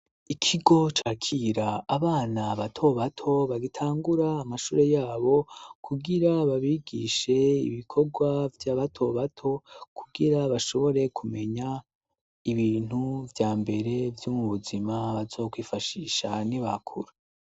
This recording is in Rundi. Ikigo cakira abana batobato bagitangura amashure yabo kugira babigishe ibikorwa vy'abatobato kugira bashobore kumenya ibintu vya mbere vyumu buzima bazokwifashisha ni bakuru.